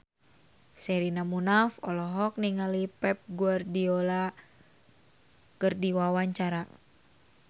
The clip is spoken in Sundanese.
Sherina Munaf olohok ningali Pep Guardiola keur diwawancara